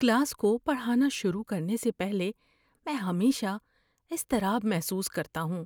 Class کو پڑھانا شروع کرنے سے پہلے میں ہمیشہ اضطراب محسوس کرتا ہوں۔